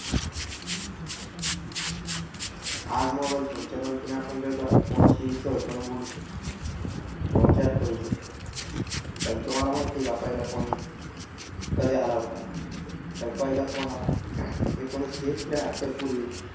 आज मोबाईल फोनच्या मदतीने आपण जगभरात कोणाशीही सहजपणे बोलू शकतो किंवा च्यात करू शकतो तर तुम्हाला माहिती आहे का पहिला फोन कधी आला होता तर पहिला फोन हा एकोणीसशे त्र्याहत्तर पूर्वी